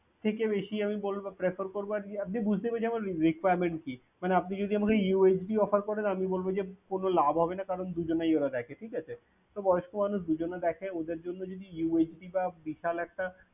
থেকে বেশি আমি বলব, আমি prefer করব আর কি আপনি বুঝতে পেরেছেন যে আমার requirement কি মানে আপনি যদি আমাকে USBoffer করেন আমি বলব যে কোন লাভ হবে না করান দুজনেই ওরা দেখে ঠিকাছে তো বয়স্ক মানুষদের দুজনে দেখে, ওদের জন্য যদি USB নি সেটা বিশাল একটা